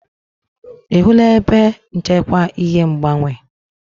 Ị hụla ebe nchekwa ihe ngbanwe?